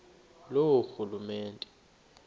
loorhulumente